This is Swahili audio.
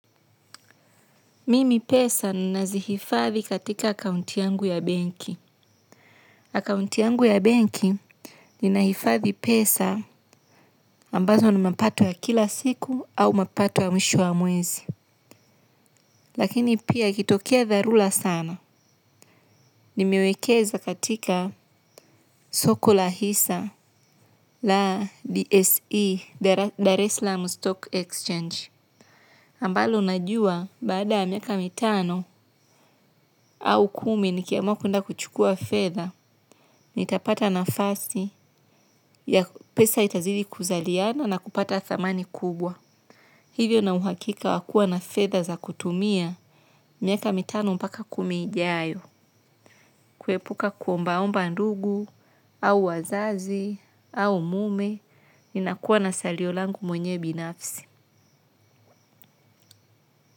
Mimi pesa nina zihifathi katika kaunti yangu ya banki. Akaunti yangu ya banki nina hifathi pesa ambazo ni mapato ya kila siku au mapato ya mwisho wa mwezi. Lakini pia ikitokea dharura sana. Nimiwekeza katika soko la hisa la DSE, Dar es salaam Stock Exchange. Ambalo unajua baada miaka mitano au kumi nikiamwa kuenda kuchukua fedha. Nitapata nafasi ya pesa itazidi kuzaliana na kupata dhamani kubwa. Hivyo na uhakika wakua na fedha za kutumia. Miaka mitano mpaka kumi ijayo. Kuepuka kuombaomba ndugu, au wazazi, au mume. Ninakua na salio langu mwenyewe binafsi.